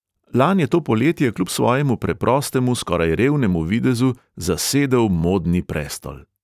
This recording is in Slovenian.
Lan je to poletje kljub svojemu preprostemu, skoraj revnemu videzu zasedel modni prestol.